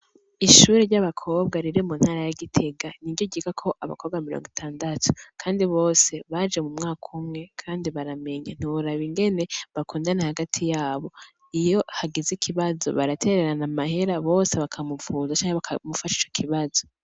Ishure ey'abakobwa riri mu ntara ya gitega niryo ryigako abakobwa mirongo itandatu kandi bose baje mu mwaka umwe kandi bose baramenya, ntiworaba ingene bakundana hagati yabo iyo hagize ikibazo baratererana amahera bose bakamuvuza canke bakamufasha ico kibazo.